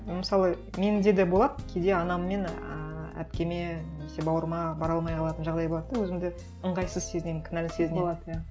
мысалы менде де болады кейде анам мен ыыы әпкеме немесе бауырыма бара алмай қалатын жағдай болады да өзімді ыңғайсыз сезінемін кінәлі сезінемін болады иә